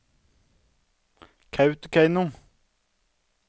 Kautokeino